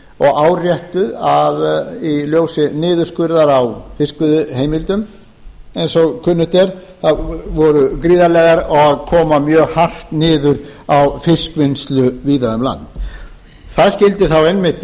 og áréttuð í ljósi niðurskurðar á fiskveiðiheimildum eins og kunnugt er og komu mjög hart niður á fiskvinnslu víða um land það skyldi einmitt